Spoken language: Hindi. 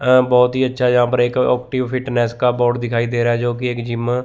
अं बहोत ही अच्छा यहां पर एक फिटनेस का बोर्ड दिखाई दे रहा है जो की एक जिम --